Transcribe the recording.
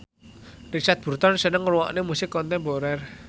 Richard Burton seneng ngrungokne musik kontemporer